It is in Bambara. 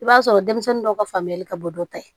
I b'a sɔrɔ denmisɛnnin dɔw ka faamuyali ka bɔ dɔ ta ye